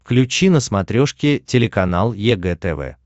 включи на смотрешке телеканал егэ тв